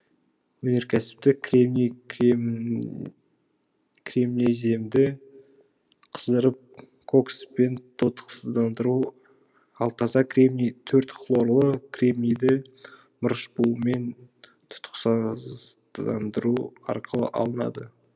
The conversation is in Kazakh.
өнеркәсіпте кремний кремнеземді қыздырып кокспен тотықсыздандыру ал таза кремний төрт хлорлы кремнийді мырыш буымен тұтықсыздандыру арқылы алынады